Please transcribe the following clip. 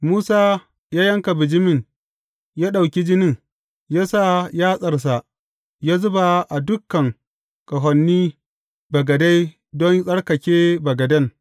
Musa ya yanka bijimin ya ɗauki jinin, ya sa yatsarsa ya zuba a dukan ƙahonin bagade don yă tsarkake bagaden.